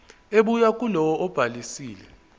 ebuya kulowo obhalisile